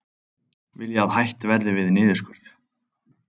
Vilja að hætt verði við niðurskurð